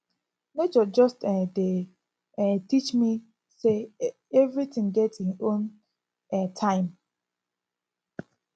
nature just um dey um teach me sey everytin get im own um time